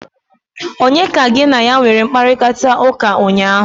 Onye ka gị na ya nwere mkparịkọtaụka ụnyaahụ?